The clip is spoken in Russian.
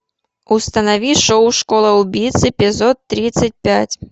установи шоу школа убийц эпизод тридцать пять